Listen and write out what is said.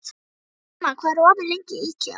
Hildimar, hvað er opið lengi í IKEA?